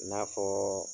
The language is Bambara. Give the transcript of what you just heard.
I n'a fɔɔ